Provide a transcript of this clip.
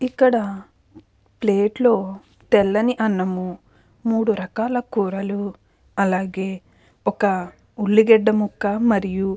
ఇక్కడ ప్లేట్లో తెల్లని అన్నం మూడు రకాల కూరలు అలాగే ఒక ఉల్లిగడ్డ ముక్క మరియు --